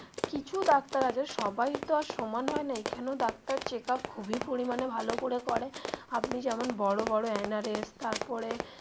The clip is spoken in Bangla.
কিছু ডাক্তার আছে সবাই তো আর সমান হয় না এখানেও ডাক্তার check up খুবই পরিমানে ভালো করে করে আপনি যেমন বড়ো বড়ো এন আর এস তারপরে.